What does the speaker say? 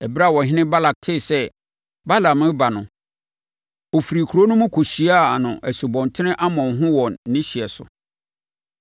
Ɛberɛ a ɔhene Balak tee sɛ Balaam reba no, ɔfirii kuro no mu kɔhyiaa no Asubɔnten Arnon ho wɔ ne hyeɛ so.